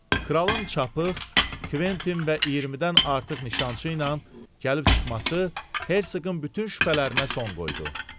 Kralın çapıq, Kventin və 20-dən artıq nişancı ilə gəlib çıxması Herseqin bütün şübhələrinə son qoydu.